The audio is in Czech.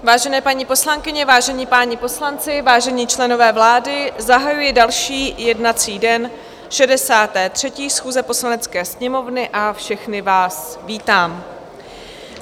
Vážené paní poslankyně, vážení páni poslanci, vážení členové vlády, zahajuji další jednací den 63. schůze Poslanecké sněmovny a všechny vás vítám.